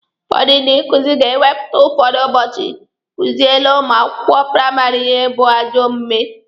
Ụfọdụ ndị nkụzi ga-ewepụta ụfọdụ ụbọchị kuziele ụmụ akwụkwọ praịmarị ihe bụ ajọ omume.